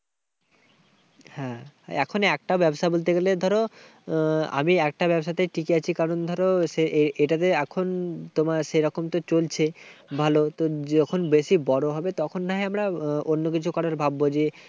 হ্যাঁ, এখন একটা ব্যবসা বলতে গেলে ধরো আহ আমি একটা ব্যবসাতে টিকে আছি। কারণ, ধরো সে এ~এটা যে এখন তোমার সেরকম তো চলছে ভালো। তো যখন বেশি বড় হবে তখন না হয় আমরা অন্যকিছু করার ভাববো যে,